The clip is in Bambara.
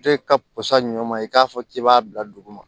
Toyɛ ka pusa ɲɔ ma i k'a fɔ k'i b'a bila dugu ma